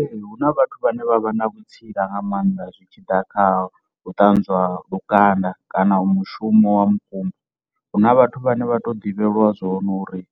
Ee, hu na vhathu vhane vha vha na vhutsila nga maanḓa zwi tshi ḓa kha u ṱanzwa lukanda kana u mushumo wa mukumba, huna vhathu vhane vha to ḓivhelwa zwone uri